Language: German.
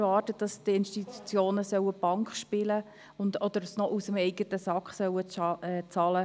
Wir können nicht verlangen, dass sie Bank spielen oder das Material sogar noch selbst bezahlen.